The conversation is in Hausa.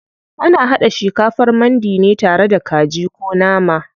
Ana haɗa shikafar mandi ne tare da kaji ko nama.